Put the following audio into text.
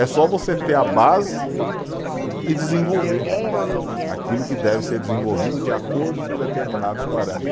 É só você ter a base e desenvolver aquilo que deve ser desenvolvido de acordo com os determinados parâmetros.